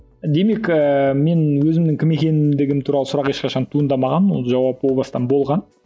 демек ііі мен өзімнің кім екендігім туралы сұрақ ешқашан туындамаған ол жауап о бастан болған